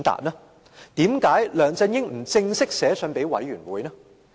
為甚麼梁振英不正式致函專責委員會？